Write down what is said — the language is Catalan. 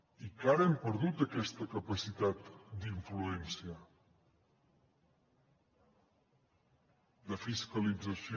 i que ara hem perdut aquesta capacitat d’influència de fiscalització